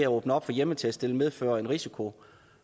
åbne op for hjemmetest vil medføre en risiko